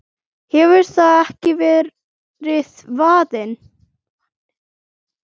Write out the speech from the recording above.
hefur það ekki verið vaninn?